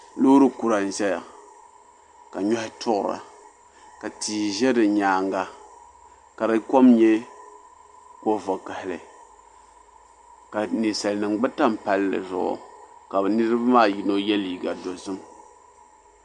Loori kura n-ʒeya ka nyɔhi tuɣira ka tia ʒe di nyaaŋa ka di kom nyɛ ko'vakahili ka Ninsalinima gba tam palli zuɣu ka niriba maa yino ye liiga dozim.